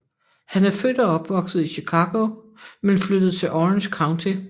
Han er født og opvokset i Chicago men flyttede til Orange County